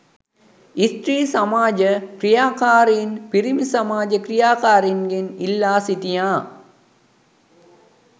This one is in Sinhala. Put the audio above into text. ස්ත්‍රී සමාජ ක්‍රියාකාරීන් පිරිමි සමාජ ක්‍රියාකාරීන්ගෙන් ඉල්ලා සිටියා